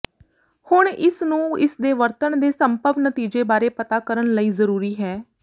ਹੁਣ ਇਸ ਨੂੰ ਇਸ ਦੇ ਵਰਤਣ ਦੇ ਸੰਭਵ ਨਤੀਜੇ ਬਾਰੇ ਪਤਾ ਕਰਨ ਲਈ ਜ਼ਰੂਰੀ ਹੈ